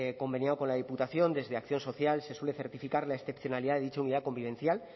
conveniado con la diputación desde acción social se suele certificar la excepcionalidad de dicha unidad convivencial